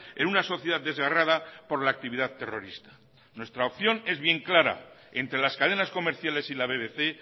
en una sociedad desgarrada por la actividad terrorista nuestra opción en bien clara entre las cadenas comerciales y la bbc